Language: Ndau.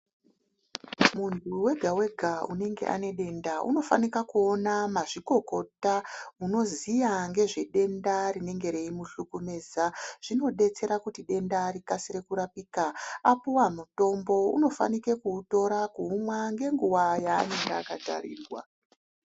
Muntu wega wega unenge ane denda unofanika kuona mazvikokota unoziva ngezvedenda rinenge reimuhlukumiza, zvinodetsera kuti denda rikasire kurapika, apiwa mutombo unofanike kuutora kuumwa ngenguva yaanenge akatarirwa.